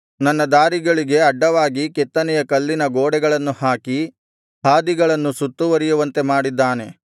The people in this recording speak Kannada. ನನ್ನ ದಾರಿಗಳಿಗೆ ಅಡ್ಡವಾಗಿ ಕೆತ್ತನೆಯ ಕಲ್ಲಿನ ಗೋಡೆಗಳನ್ನು ಹಾಕಿ ಹಾದಿಗಳನ್ನು ಸುತ್ತುವರಿಯುವಂತೆ ಮಾಡಿದ್ದಾನೆ